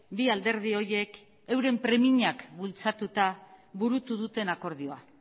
bi alderdi horiek euren premiak bultzatuta burutu duten akordioa